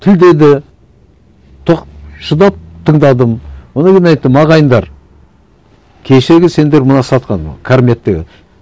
тілдеді шыдап тыңдадым одан кейін айттым ағайындар кешегі сендер мына сатқан карметтегі